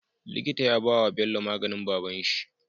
Likita ya bawa Bello maganin babanshi